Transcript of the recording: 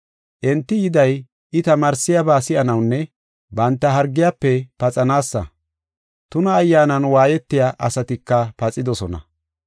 Enti yiday, I tamaarsiyaba si7anawunne banta hargiyafe paxanaasa. Tuna ayyaanan waayetiya asatika paxidosona.